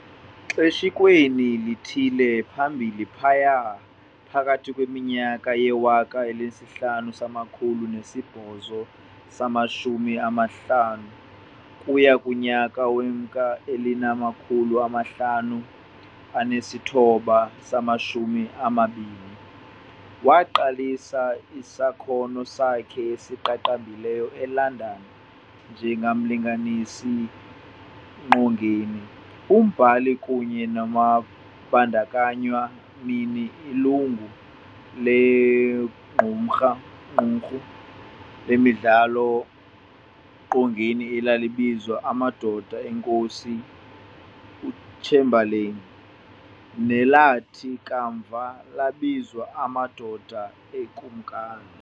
Xeshikweni lithile phambili phayaa phakathi kweminyaka yewaka elinesihlanu samakhulu nesibhozo samashumi anantlanu ukuya kunyaka wewaka elinamakhulu amahlanu anesithoba samashumi anambini, waaqalisa isakhono sakhe esiqaqambileyo e-London njengomlinganisi-qongeni, umbhali, kunye nombandakanywa-mnini - ilungu legqumrha lequmrhu lemidlalo-qongeni elalibizwa Amadoda eNkosi uTshembaleni, nelathi kamva labizwa Amadoda eKumkani.